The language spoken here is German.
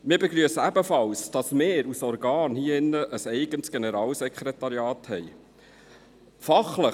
Wir begrüssen ebenfalls, dass wir als Grosser Rat als Organ ein eigenes Generalsekretariat haben.